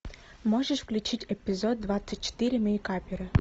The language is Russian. можешь включить эпизод двадцать четыре мейкаперы